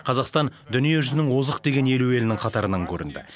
қазақстан дүние жүзінің озық деген елу елінің қатарынан көрінді